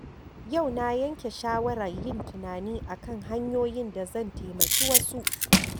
Yau na yanke shawarar yin tunani a kan hanyoyin da zan taimaki wasu.